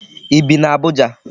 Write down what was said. I bi n'Abuja?